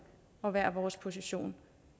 og hver vores position